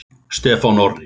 Stefán Orri.